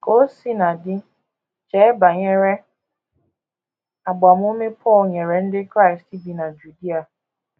Ka o sina dị, chee banyere agbamume Pọl nyere ndị Kraịst bi na Judia.